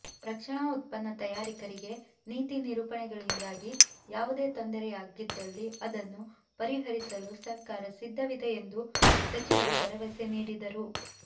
ರಕ್ಷಣಾ ಉತ್ಪನ್ನ ತಯಾರಕರಿಗೆ ನೀತಿ ನಿರೂಪಣೆಗಳಿಂದಾಗಿ ಯಾವುದೇ ತೊಂದರೆಯಾಗಿದ್ದಲ್ಲಿ ಅದನ್ನು ಪರಿಹರಿಸಲು ಸರ್ಕಾರ ಸಿದ್ಧವಿದೆ ಎಂದು ಸಚಿವರು ಭರವಸೆ ನೀಡದರು